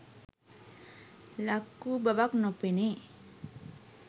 ලක්වූ බවක් නොපෙනේ